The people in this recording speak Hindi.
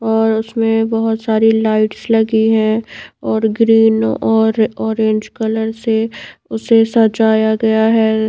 और उसमे बहुत सारी लाइट्स लगी है और ग्रीन और ऑरेंज कलर से उसे सजाया गया है।